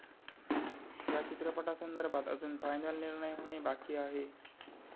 या चित्रपटासंदर्भात अजून फायनल निर्णय होणे बाकी आहे.